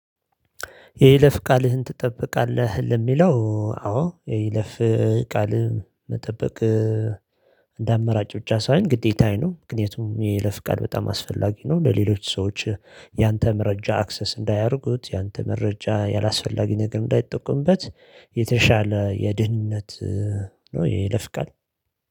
የይለፍ ቃልህን ትጠብቃለህ? ለሚለው አዎ የይለፍ ቃል መጠበቅ እንደ አማራጭ ብቻ ሳይሆን ግዴታዬ ነው ምክንያቱም ይሄ ለፍቃድ በጣም አስፈላጊ ነው። ለሌሎች ሰዎች ያንተ መረጃ አክሰስ እንዳያደርጉት ያንተ መረጃ ያላስፈላጊ ነገር እንዳይጠቁምበት። የተሻለ የድህነት የይለፍቃል